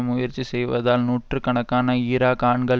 முயற்சி செய்வதால் நூற்று கணக்கான ஈராக் ஆண்கள்